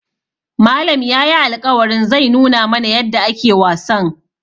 Malam yayi alƙawarin zai nuna mana yadda ake wasan.